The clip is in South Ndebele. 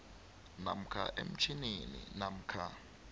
namkha emtjhinini namkha